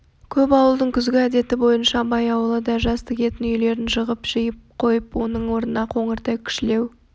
көп ауылдың күзгі әдеті бойынша абай ауылы да жаз тігетін үйлерін жығып жиып қойып оның орнына қоңырқай кішілеу